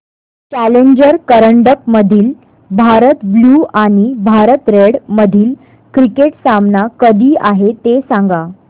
challenger करंडक मधील Bharat blue आणि भारत रेड मधील क्रिकेट सामना कधी आहे ते सांगा